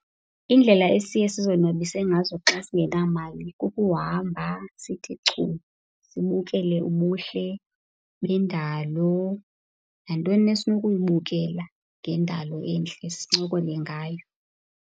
Indlela esiye sizonwabise ngazo xa singenamali kukuhamba sithi chu sibukele ubuhle bendalo nantoni na esinokuyibukela ngendalo entle, sincokole ngayo.